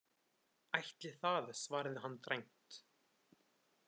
Ætli það, svaraði hann dræmt.